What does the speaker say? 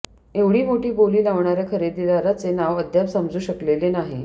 एवढी मोठी बोली लावणाऱ्या खरेदीदाराचे नाव अद्याप समजू शकलेले नाही